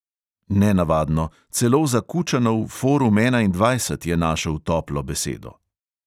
Nenavadno, celo za kučanov forum enaindvajset je našel toplo besedo.